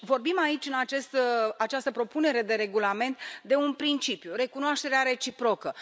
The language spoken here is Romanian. Vorbim aici, în această propunere de regulament, de un principiu recunoașterea reciprocă.